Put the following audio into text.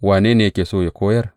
Wane ne yake so ya koyar?